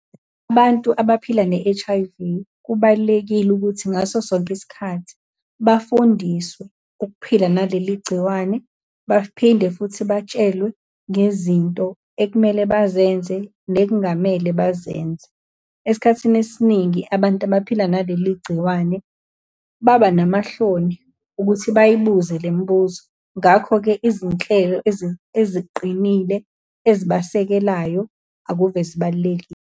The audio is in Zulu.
Abantu abaphila ne-H_I_V, kubalulekile ukuthi ngaso sonke isikhathi, bafundiswe ukuphila naleli gciwane, baphinde futhi batshelwe ngezinto ekumele bazenze nekungamele bazenze. Esikhathini esiningi abantu abaphila naleli gciwane, baba namahloni ukuthi bayibuza le mibuzo. Ngakho-ke, izinhlelo eziqinile ezibasekelayo akuve zibalulekile.